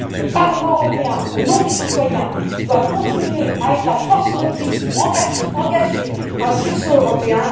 Le Parlement européen, au nom des citoyens, doit continuer à être la force motrice pour engager un sursaut européen.